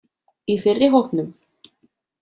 Í fyrri hópnum.